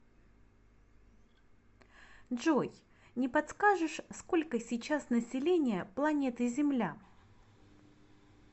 джой не подскажешь сколько сейчас население планеты земля